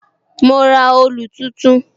Mo ra òòlù tuntun.